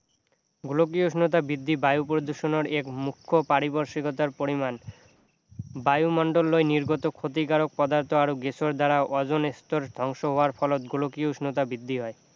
গোলকীয় উষ্ণতা বৃদ্ধি বায়ু প্ৰদূষণৰ এক মুখ্য পাৰিপাৰ্শিকতাৰ পৰিমাণ বায়ুমণ্ডলৈ নিৰ্গত ক্ষতিকাৰক পদাৰ্থ আৰু গেছৰ দ্বাৰা অজন স্তৰ ধ্বংস হোৱাৰ পিছত গোলকীয় উষ্ণতা বৃদ্ধি হয়